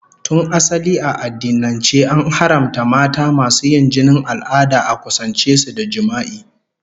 Tun asali a addinance, an haramta mata masu yin jinin al'ada a kusance su da jima'i.